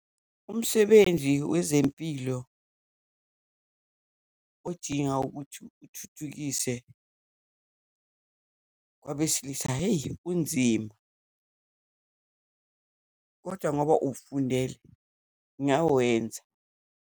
Umsebenzi wezempilo odinga ukuthi uthuthukise kwabesilisa. Hheyi kunzima, kodwa ngoba uwufundele, ngawenza.